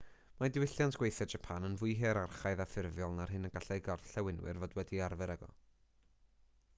mae diwylliant gweithio japan yn fwy hierarchaidd a ffurfiol na'r hyn y gallai gorllewinwyr fod wedi arfer ag ef